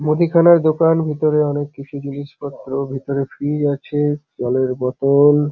মুদিখানা দোকান ভিতরে অনেক কিছু জিনিসপত্র ভিতরে ফ্রিজ আছে জলের বোতল।